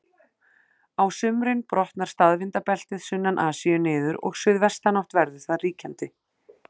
Á sumrin brotnar staðvindabeltið sunnan Asíu niður og suðvestanátt verður þar ríkjandi.